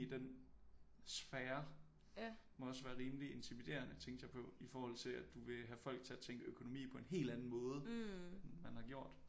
I den sphere må også være rimelig intimiderende tænkte jeg på i forhold til at du vil have folk til at tænke økonomi på en helt anden måde end man har gjort